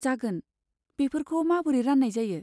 जागोन, बेफोरखौ माबोरै रान्नाय जायो?